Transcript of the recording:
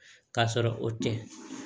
K'a sɔrɔ o tɛ